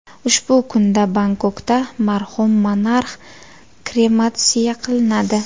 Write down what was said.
Ushbu kunda Bangkokda marhum monarx krematsiya qilinadi.